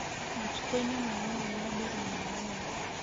matukũ-inĩ manini ma mbere ma muoyo